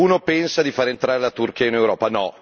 E qualcuno pensa di far entrare la Turchia in Europa.